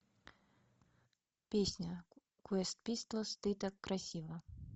песня квест пистолс ты так красива